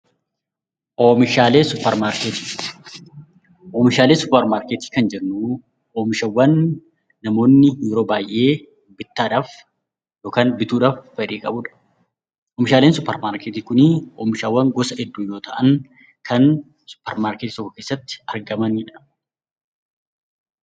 Oomishaalee suuparmarketii Oomishaalee suuparmarketii kan jennuu oomishawwan namoonni yeroo baay'ee bittaa dhaaf yookaan bituu dhaaf fedhii qabu dha. Oomishaaleen suuparmarketii kunii oomishaawwan gosa hedduu yoo ta'an kan suuparmarketii tokko keessatti argamani dha.